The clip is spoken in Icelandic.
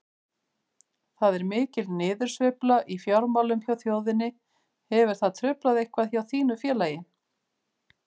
Það er mikil niðursveifla í fjármálum hjá þjóðinni, hefur það truflað eitthvað hjá þínu félagi?